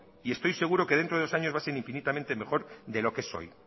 y estoy seguro que dentro de dos años va a ser infinitamente mejor de lo que es hoy